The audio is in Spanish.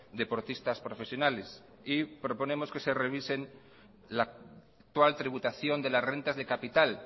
deportistas profesionales y proponemos que se revisen la actual tributación de las rentas de capital